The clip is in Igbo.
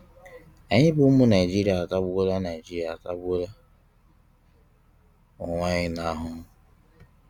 Anyị bụ ụmụ Naịjirịa atagbuola Naịjirịa atagbuola onwe anyị n'ahụhụ'